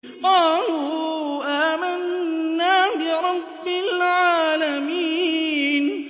قَالُوا آمَنَّا بِرَبِّ الْعَالَمِينَ